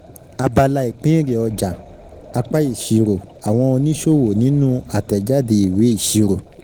Abala ìpín èrè ọjà, apá ìṣirò́ àwọn oníṣòwò nínú àtẹ̀jáde ìwé ìṣirò.